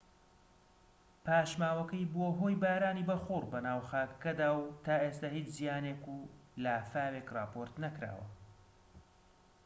پاشماوەکەی بووە هۆی بارانی بەخوڕ بەناو خاکەکەدا و تا ئێستا هیچ زیانێک و لافاوێك راپۆرت نەکراوە